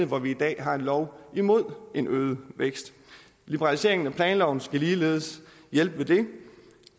hvor vi i dag har en lov imod en øget vækst liberaliseringen af planloven skal ligeledes hjælpe på det